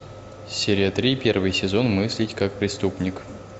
серия три первый сезон мыслить как преступник